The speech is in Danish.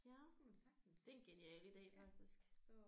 Ja det er en genial ide faktisk